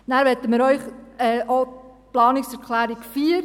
Dann möchten wir Ihnen auch die Planungserklärung 4 ans Herz legen.